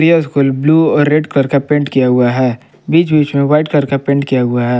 यह school blue और red colour का पेंट किया हुआ है बिच-बिच में व्हाइट कलर का पेंट किया हुआ है।